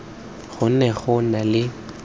go ne go na le